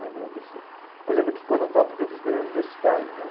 Lembrando assim, eu lembro que quando eu estava, porque eu fiz o primeiro universitário, né?